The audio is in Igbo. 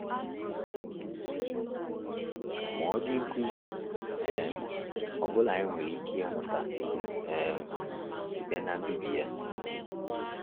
Ma ọ dị nkuzi um ọ bụla anyị nwere ike ịmụta um site na mbibi ya?